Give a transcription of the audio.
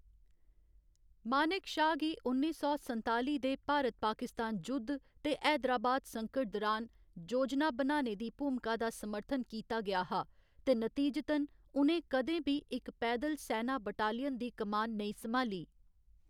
मानेक शा गी उन्नी सौ संताली दे भारत पाकिस्तान जुद्ध ते हैदराबाद संकट दुरान योजना बनाने दी भूमिका दा समर्थन कीता गेआ हा, ते नतीजतन, उ'नें कदें बी इक पैदल सैना बटालियन दी कमान नेईं संभाली।